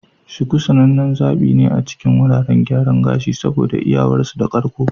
Shuku sanannen zaɓi ne a cikin wuraren gyaran gashi saboda iyawarsu da karko.